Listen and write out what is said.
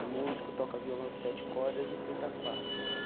É músico, toca violão de sete cordas e pinta quadro.